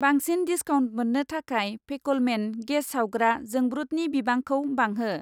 बांसिन डिसकाउन्ट मोन्नो थाखाय फेकोलमेन गेस सावग्रा जोंब्रुतनि बिबांखौ बांहो।